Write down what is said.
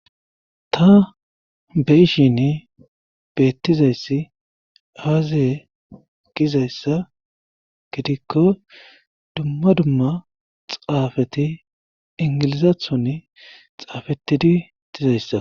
ta be'ishin beettizayssi aze gizayssa gidikko dumma dumma xaafati ingilizathon xaafetidi dizayssa